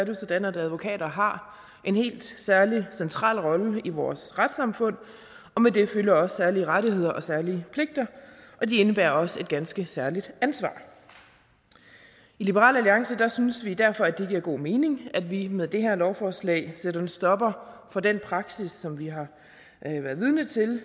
jo sådan at advokater har en helt særlig central rolle i vores retssamfund og med det følger også særlige rettigheder og særlige pligter og de indebærer også et ganske særligt ansvar i liberal alliance synes vi derfor at det giver god mening at vi med det her lovforslag sætter en stopper for den praksis som vi har været vidne til